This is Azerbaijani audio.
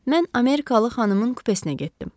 Mən amerikalı xanımın kupesinə getdim.